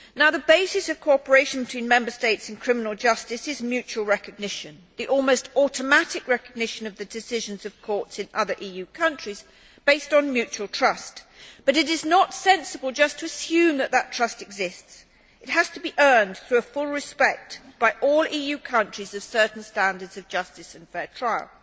The basis of cooperation between Member States in criminal justice is mutual recognition, the almost automatic recognition of the decisions of courts in other EU countries based on mutual trust, but it is not sensible just to assume that trust exists. It has to be earned through full respect by all EU countries of certain standards of justice and fair trial.